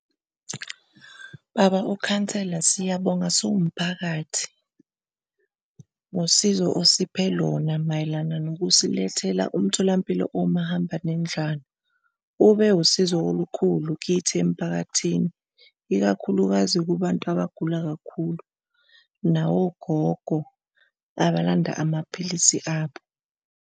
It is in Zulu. Baba, ukhansela, siyabonga siwumphakathi ngosizo osiphe lona mayelana nokusilethela umtholampilo owumahambanendlwana. Ube usizo olukhulu kithi emphakathini ikakhulukazi kubantu abagula kakhulu, nawogogo abalanda amaphilisi abo.